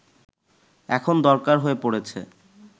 এখন দরকার হয়ে পড়েছে